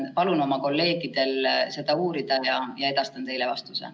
Palun oma kolleegidel seda uurida ja edastan teile vastuse.